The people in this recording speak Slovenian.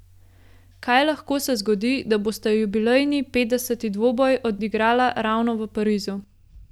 Kaj lahko se zgodi, da bosta jubilejni petdeseti dvoboj odigrala ravno v Parizu.